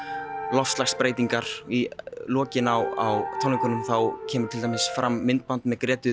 loftslagsbreytingar í lokin á tónleikunum kemur til dæmis fram myndband með Grétu